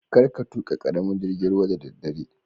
Karka tuka karamin jingin ruwa da daddare.